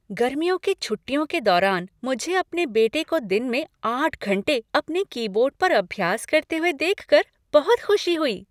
गर्मियों की छुट्टियों के दौरान मुझे अपने बेटे को दिन में आठ घंटे अपने कीबोर्ड पर अभ्यास करते हुए देखकर बहुत खुशी हुई।